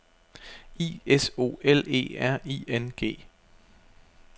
I S O L E R I N G